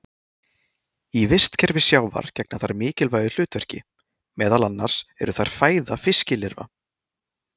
Í vistkerfi sjávar gegna þær mikilvægu hlutverki, meðal annars eru þær fæða fiskilirfa.